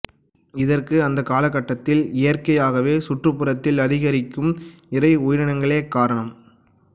இதற்கு அந்த காலகட்டத்தில் இயற்கையாகவே சுற்றுப்புறத்தில் அதிகரிக்கும் இரை உயிரினங்களே காரணம்